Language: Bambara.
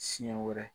Siɲɛ wɛrɛ